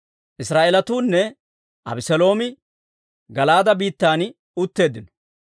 Israa'eelatunne Abeseeloomi Gala'aade biittan utteeddino.